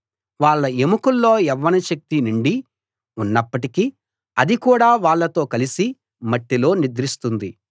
వాళ్ళ ఎముకల్లో యవ్వన శక్తి నిండి ఉన్నప్పటికీ అది కూడా వాళ్ళతో కలసి మట్టిలో నిద్రిస్తుంది